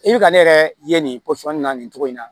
I bɛ ka ne yɛrɛ ye nin pɔsɔn na nin cogo in na